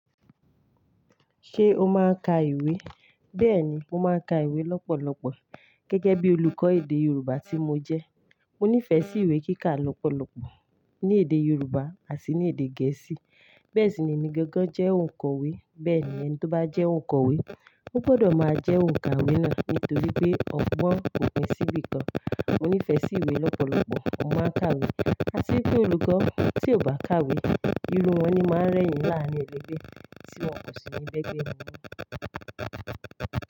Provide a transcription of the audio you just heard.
Ṣé o máa ń ka ìwé? Bẹ́ẹ̀ni, mo máa ń ka ìwé lọ́pọ̀lọpọ̀ gẹ́gẹ́ bí olùkọ́ èdè Yorùbá tí mo jẹ́. Mo nífẹ̀ẹ́ sí ìwé kíkà lọ́pọ̀lọpọ̀ ní èdè Yorùbá àti ní èdè Gẹ̀ẹ́sì. Bẹ́ẹ̀ sì ni èmi gangan jẹ́ onkọ̀wé. Bẹ́ẹ̀ni, ẹni tó bá jẹ́ onkọ̀wé, ó gbọdọ̀ máa jẹ́ òǹkàwe naa nítorí pé ọgbọ́n òpin sí ibìkan. Mo nífẹ̀ẹ́ sí ìwé lọ́pọ̀lọpọ̀, mo máa ń ka ìwé. À sì pé olùkọ́ tí ò bá ka ìwé, irú wọn ni máa ń rẹ́yìn láàrin ẹlẹgbẹ́ tí wọn kò sì nílẹ́gbẹ̀ẹ́ wọn mọ́.